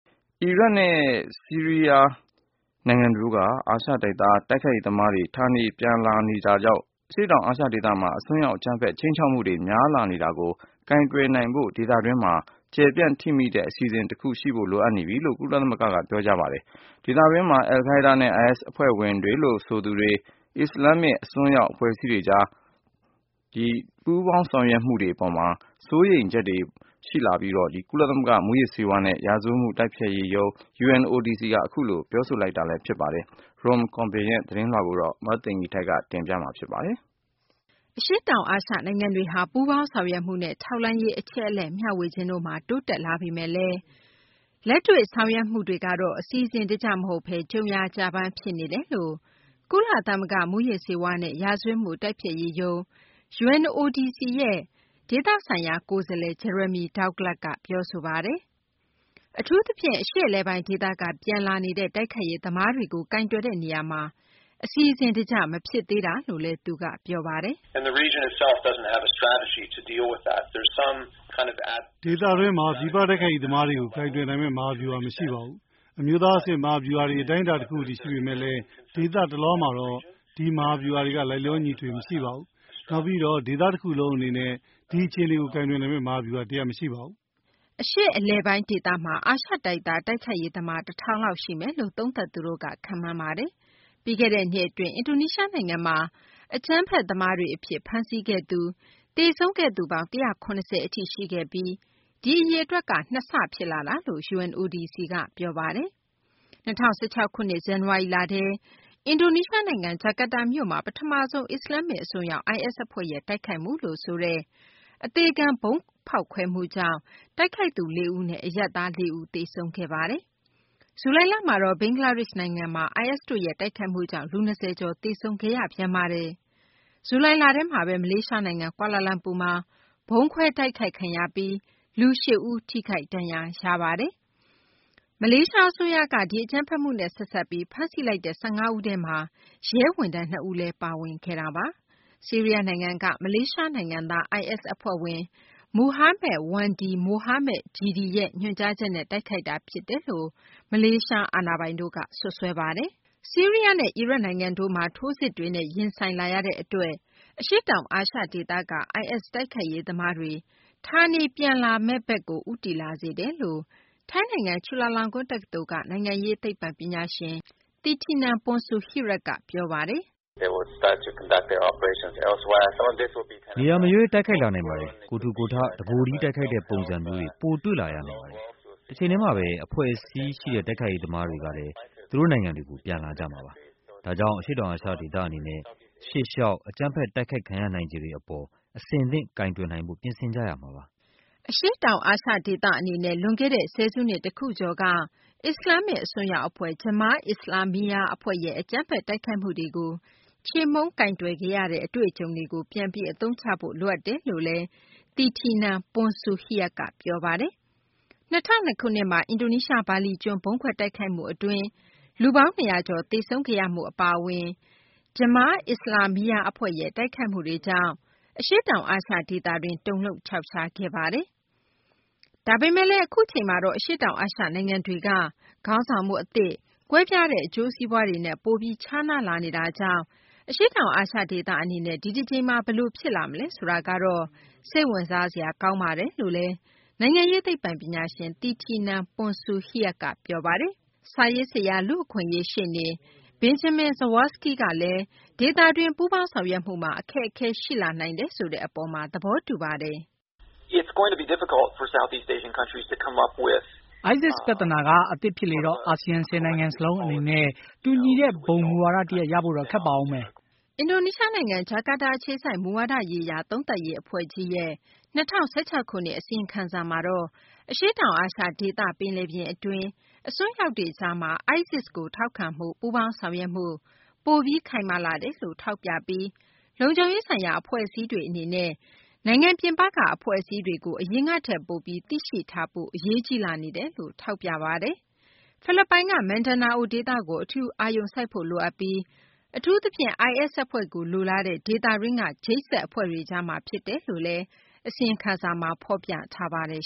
အီရတ်နဲ့ ဆီးရီးယား နိုင်ငံတို့က အာရှတိုက်သား တိုက်ခိုက်ရေးသမားတွေ ဌာနေပြန်လာနေတာကြောင့် အရှေ့တောင် အာရှ ဒေသမှာ အစွန်းရောက် အကြမ်းဖက် ခြိမ်းခြောက်မှုတွေ များလာနေတာကို ကိုင်တွယ်နိုင်ဖို့ ဒေသတွင်မှာ ကျယ်ပြန့် ထိမိတဲ့ အစီအစဉ် တခုရှိဖို့ လိုအပ်နေပြီလို့ ကုလသမဂ္ဂက ပြောဆိုလိုက်ပါတယ်။ ဒေသတွင်းမှာ အယ်လ်ခိုက်ဒါးနဲ့ IS အဖွဲ့ဝင်တွေလို့ ဆိုသူတွေ၊ အစ္စလာမ် အစွန်းရောက် အဖွဲ့အစည်းတွေကြား ကြီးဌားလာတဲ့ ပူးပေါင်းဆောင်ရွက်မှုတွေ အပေါ် စိုးရိမ်ချက်တွေ အပေါ်မှာ ကုလသမဂ္ဂ မူးယစ်ဆေးဝါးနဲ့ ရာဇဝတ်မှု တိုက်ဖျက်ရေးရုံး UNODC က အခုလို ပြောဆိုလိုက်တာ ဖြစ်ပါတယ်။ Rom Corben ရဲ့ သတင်းလွှာကို မသိင်္ဂ ီထိုက် ပြောပြပေးပါမယ်။ အရှေ့တောင် အာရှ နိုင်ငံတွေဟာ ပူးပေါင်းဆောင်ရွက်မှုနဲ့ ထောက်လှမ်းရေး အချက်အလက် မျှဝေခြင်းတို့မှာ တိုးတက်လာပေမယ့်လည်း လက်တွေ့ ဆောင်ရွက်မှုတွေကတော့ အစီအစဉ်တကျ မဟုတ်ဘဲ ကြုံရာ ကျဘမ်း ဖြစ်နေတယ်လို့ UNODC ရဲ့ ဒေသဆိုင်ရာ ကိုယ်စားလှယ် Jeremy Douglas က ပြောဆိုပါတယ်။ အထူးသဖြင့် အရှေ့အလယ်ပိုင်း ဒေသက ပြန်လာနေတဲ့ တိုက်ခိုက်ရေး သမားတွေကို ကိုင်တွယ်တဲ့ နေရာမှာ အစီအစဉ် တကျ မဖြစ်သေးတာလို့လည်း သူက ပြောပါတယ်။ "ဒေသတွင်းမှာ ပြည်ပ တိုက်ခိုက်ရေး သမားတွေကို ကိုင်တွယ်နိုင်မယ့် မဟာဗျူဟာ မရှိပါဘူး။ အမျိုးသား အဆင့် မဟာဗျူဟာတွေ အတိုင်းအတာ တခုအထိ ရှိပေမယ့်လည်း ဒေသတလွှားမှာတော့ ဒီမဟာဗျူဟာတွေက လိုက်လျောညီထွေ မရှိပါဘူး။ နောက်ပြီး ဒေသတခုလုံး အနေနဲ့ ဒီအခြေအနေကို ကိုင်တွယ်နိုင်မယ့် မဟာဗျူဟာ တရပ် မရှိပါဘူး။" အရှေ့အလယ်ပိုင်း ဒေသမှာ အာရှတိုက်သား တိုက်ခိုက်ရေး သမား ၁၀၀၀ လောက် ရှိမယ်လို့ သုံးသပ်သူတို့က ခန့်မှန်းကြပါတယ်။ ပြီးခဲ့တဲ့ နှစ် အတွင်း အင်ဒိုနီးရှားနိုင်ငံမှာ အကြမ်းဖက် သမားတွေ အဖြစ် ဖမ်းဆီးခဲ့သူ၊ သေဆုံးခဲ့သူပေါင်း ၁၇၀ အထိ ရှိခဲ့ပြီး ဒီအရေအတွက် ၂ ဆ ဖြစ်လာတာလို့ UNODC က ပြောပါတယ်။ ၂၀၁၆ ခုနှစ် ဇန်နဝါရီလထဲ အင်ဒိုနီးရှားနိုင်ငံ ဂျာကာတာမြို့မှာ ပထမဆုံး အစ္စလာမ္မစ် အစွန်းရောက် IS အဖွဲ့ရဲ့ တိုက်ခိုက်မှုလို့ ဆိုတဲ့ အသေခံ ဗုံးဖောက်ခွဲမှုကြောင့် တိုက်ခိုက်သူ ၄ ဦးနဲ့ အရပ်သား ၄ ဦးတို့ သေဆုံးခဲ့ရတာပါ။ ဇူလိုင်လမှာတော့ ဘင်္ဂလားဒေရှ့်နိုင်ငံမှာ IS တို့ရဲ့ တိုက်ခိုက်မှုကြောင့် လူ ၂၀ ကျော် သေခဲ့ရပြန်ပါတယ်။ ဇူလိုင်လထဲမှာဘဲ မလေးရှားနိုင်ငံ ကွာလာလမ်ပူမှာ ဗုံးခွဲတိုက်ခိုက်ခံရပြီး လူ ၈ ဦးထိခိုက်ဒဏ်ရာရပါတယ်။ မလေးရှား အစိုးရက ဒီအကြမ်းဖက်မှုနဲ့ ဆက်စပ်ပြီး ဖမ်းဆီးလိုက်တဲ့ ၁၅ ဦးထဲမှာ ရဲဝန်ထမ်း ၂ ဦးလည်း ပါဝင်ခဲ့တာပါ။ ဆီးရီးယား နိုင်ငံက မလေးရှားနိုင်ငံသား IS အဖွဲ့ဝင် Muhammad Wanndy Mohamed Jedi ရဲ့ ညွှန်ကြားချက်နဲ့ တိုက်ခိုက်တာဖြစ်တယ်လို့ မလေးရှား အာဏာပိုင်တို့က စွပ်စွဲပါတယ်။ ဆီးရီးယားနဲ့ အီရတ် နိုင်ငံတို့မှာ ထိုးစစ်တွေနဲ့ ရင်ဆိုင်လာရတဲ့ အတွက် အရှေ့တောင်အာရှ ဒေသက IS တိုက်ခိုက်ရေး သမားတွေ ဌာနေ ပြန်လာမယ့်ဘက်ကို ဦးတည်လာစေတယ် လို့ ထိုင်းနိုင်ငံ ချူလာလောင်ကွန်း တက္ကသိုလ်က နိုင်ငံရေး သိပ္ပံပညာရှင် Thitinan Pongsudhirak က ပြောတာပါ။ "နေရာမရွေး တိုက်ခိုက်လာနိုင်ပါတယ်။ ကိုယ်ထူကိုယ်ထ၊ တကိုယ်တည်း တိုက်ခိုက်တဲ့ ပုံစံမျိုးတွေ ပိုတွေ့လာရနိုင်ပါတယ်။ တချိန်တည်းမှာဘဲ အဖွဲ့အစည်းရှိတဲ့ တိုက်ခိုက်ရေးသမားတွေလည်း သူတို့ နိုင်ငံတွေကို ပြန်လာကြမှာပါ။ ဒါကြောင့် အရှေ့တောင် အာရှ ဒေသ အနေနဲ့ ရှေ့လျှောက် အကြမ်းဖက် တိုက်ခိုက်ခံရနိုင်ခြေတွေ အပေါ်မှာ အဆင်သင့် ကိုင်တွယ်နိုင်ဖို့ ပြင်ဆင်ကြရမှာပါ။" အရှေ့တောင် အာရှ ဒေသ အနေနဲ့ လွန်ခဲ့တဲ့ ဆယ်စုနှစ် တခုကျော်က အစ္စလာမ္မစ် အစွန်းရောက် အဖွဲ့ Jemaah Islamiyah အဖွဲ့ရဲ့ အကြမ်းဖက် တိုက်ခိုက်မှုတွေကို ချေမှုန်းကိုင်တွယ်ခဲ့ရတဲ့ အတွေ့အကြုံတွေကို ပြန်ပြီး အသုံးချဖို့ လိုအပ်တယ်လို့လည်း Thitinan Pongsudhirak က ပြောပါတယ်။ ၂၀၀၂ ခုနှစ်မှာ အင်ဒိုနီးရှား ဘာလီကျွန်းမှာ ဗုံးခွဲတိုက်ခိုက်မှု အတွင်း လူပေါင်း ၂၀၀ ကျော်သေဆုံးခဲ့ရမှု အပါအဝင် Jemaah Islamiyah အဖွဲ့ရဲ့ တိုက်ခိုက်မှုတွေကြောင့် အရှေ့တောင် အာရှ ဒေသတွင်း တုန်လှုပ်ခြောက်ခြားခဲ့ရတာပါ။ ဒါပေမယ့်လည်း အခုအချိန်မှာတော့ အရှေ့တောင်အာရှ နိုင်ငံတွေက ခေါင်းဆောင်မှု အသစ်၊ ကွဲပြားတဲ့ အကျိုးစီးပွားတွေနဲ့ ပိုပြီး ခြားနာလာနေတာကြောင့် အရှေ့တောင်အာရှ ဒေသ အနေနဲ့ ဒီတကြိမ်မှာ ဘယ်လို ဖြစ်လာမလဲ ဆိုတာကတော့ စိတ်ဝင်စားစရာ ကောင်းပါတယ်လို့လည်း နိုင်ငံရေး သိပ္ပံပညာရှင် Thitinan Pongsudhirak က ပြောပါတယ်။ စာရေးဆရာ၊ လူ့အခွင့်အရေး ရှေ့နေ Banjamin Zawacki ကလည်း ဒေသတွင်း ပူးပေါင်းဆောင်ရွက်မှုမှာ အခက်အခဲ ရှိလာနိုင်တယ်ဆိုတဲ့ အပေါ်မှာ သဘောတူပါတယ်။ "ISIS ပြသနာက အသစ်ဖြစ်လေတော့ အာဆီယံ ၁၀ နိုင်ငံ စလုံး အနေနဲ့ တူညီတဲ့ ဘုံ မူဝါဒ တရပ်ရဖို့တော့ ခက်ပါဦးမယ်။" အင်ဒိုနီးရှား နိုင်ငံ ဂျကာတာ အခြေစိုက် မူဝါဒရေးရာသုံးသပ်ရေး အဖွဲ့ကြီးရဲ့ ၂၀၁၆ ခုနှစ် အစီရင်ခံစာမှာတော့ အရှေ့တောင်အာရှ ဒေသ ပင်လယ်ပြင် အတွင်း အစွန်းရောက်တွေကြားမှာ ISIS ကို ထောက်ခံမှု ပူးပေါင်းဆောင်ရွက်မှု ပိုပြီး ခိုင်မာလာတယ်လို့ ထောက်ပြပြီး လုံခြုံရေးဆိုင်ရာ အဖွဲ့အစည်းတွေ အနေနဲ့ နိုင်ငံပြင်ပက အဖွဲ့အစည်းတွေကို အရင်ကထက် ပိုပြီး သိရှိထားဖို့ အရေးကြီးလာနေတယ်လို့ ထောက်ပြထားပါတယ်။ ဖိလစ်ပိုင်က မင်ဒါနာအို ဒေသကို အထူး အာရုံစိုက်ဖို့ လိုအပ်ပြီး အထူးသဖြင့် IS အဖွဲ့ကို လိုလားတဲ့ ဒေသတွင်းက ချိတ်ဆက် အဖွဲ့တွေကြားမှာ ဖြစ်တယ်လို့လည်း အစီရင်ခံစာမှာ ဖော်ပြထားပါတယ်